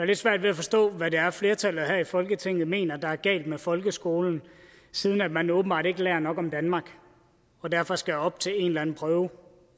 lidt svært ved at forstå hvad det er flertallet her i folketinget mener er galt med folkeskolen siden at man åbenbart ikke lærer nok om danmark og derfor skal op til en eller anden prøve